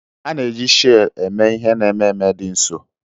A na-eji sheel eme ihe n'ememe dị nsọ.